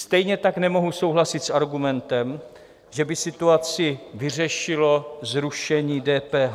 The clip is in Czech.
Stejně tak nemohu souhlasit s argumentem, že by situaci vyřešilo zrušení DPH.